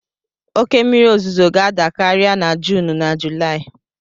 Oke mmiri ozuzo ga-ada karịa na Juun na Julaị.